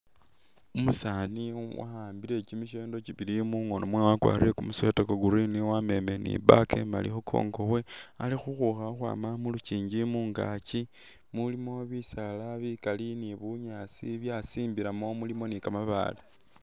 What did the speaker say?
Umusaani wa'ambile kyi mishendo kyibili mungono mwe wakwarire kumusweta kwa green wamemele ni bag imali khu kongo khwe ali khukhukha khukhwama mulukyingi mungakyi mulimo bisaala bikali ni bunyaasi byasimbilamo mulimo ni ka mabaale.